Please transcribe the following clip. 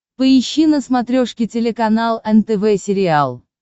поищи на смотрешке телеканал нтв сериал